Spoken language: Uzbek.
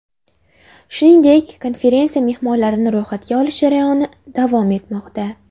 Shuningdek, konferensiya mehmonlarini ro‘yxatga olish jarayoni davom etmoqda.